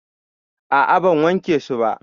A'a ban wanke su ba.